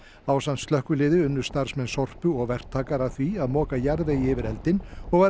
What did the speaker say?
ásamt slökkviliði unnu starfsmenn Sorpu og verktakar að því að moka jarðvegi yfir eldinn og var